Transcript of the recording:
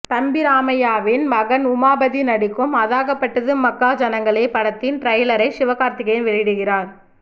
தம்பி ராமையாவின் மகன் உமாபதி நடிக்கும் அதாகப்பட்டது மகாஜனங்களே படத்தின் ட்ரய்லரை சிவகார்த்திகேயன் வெளியிடுகிறார்